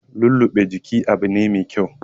Lulluɓe jiki Abu ne mai kyau